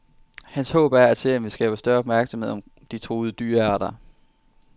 Hans håb er, at serien vil skabe større opmærksomhed om de truede dyrearter.